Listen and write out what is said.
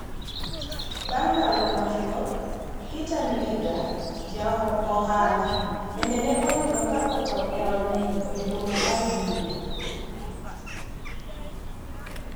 Bang' ndalo machuok, Peter Ndwiga, ja ohala, bende ne oyudo ka otho e od nindo e boma mar Juja.